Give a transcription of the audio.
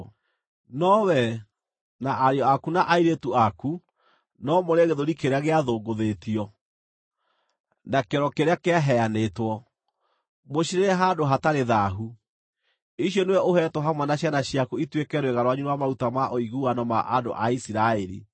No wee, na ariũ aku na airĩtu aku no mũrĩe gĩthũri kĩrĩa gĩathũngũthĩtio, na kĩero kĩrĩa kĩaheanĩtwo. Mũcirĩĩre handũ hatarĩ thaahu; icio nĩwe ũheetwo hamwe na ciana ciaku ituĩke rwĩga rwanyu rwa maruta ma ũiguano ma andũ a Isiraeli.